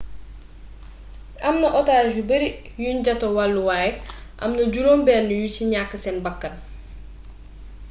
amna otage yu bari yuñ jota wallu waaye amna juróom benn yu ci ñàkk seen bakkan